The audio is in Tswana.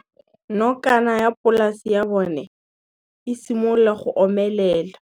Nokana ya polase ya bona, e simolola go omelela.